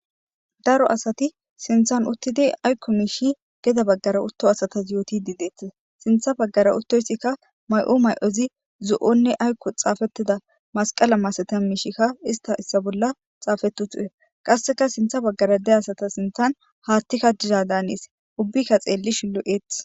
daro asati sinthan uttidi aykko miishi geda baggara utto asatas yooti di deetis sintha baggara uttoysikka may7o may7ozi zu7onne aykko xaafettida masqala masatan miishikka ista issa bolla xaafetu tu7e qasseka sintha baggara de asata sintan haattikka diza daanees ubbikka xeelli shulu7eth